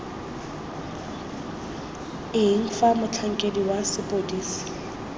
eng fa motlhankedi wa sepodisi